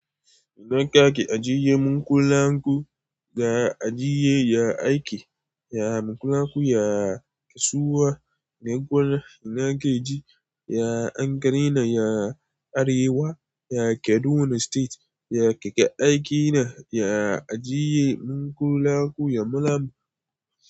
Ina ka ke ajiye mun kulaku, da ajiye ya aiki, ya mulanku, ya kasuwa, na gona, ina ka ji, ya Ankara ina, ya Arewa, ya Kaduna state, ya keka aiki na, ya ajiye mun kulaku ya malam.